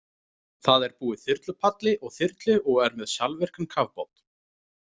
Það er búið þyrlupalli og þyrlu og er með sjálfvirkan kafbát.